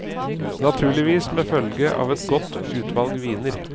Naturligvis med følge av et godt utvalg viner.